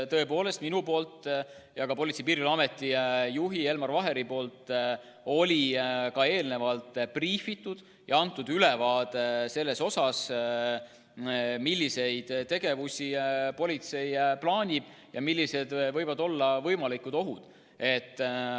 Tõepoolest, nii mina kui ka Politsei- ja Piirivalveameti juht Elmar Vaheri andsime eelnevalt briifingu ja ülevaate sellest, milliseid tegevusi politsei plaanib ja millised võivad olla võimalikud ohud.